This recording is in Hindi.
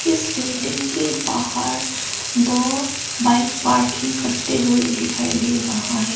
इस बिल्डिंग के बाहर दो बाइक पार्किंग करते हुए दिखाई दे रहा है।